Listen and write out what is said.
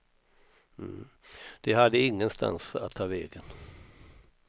De hade ingenstans att ta vägen.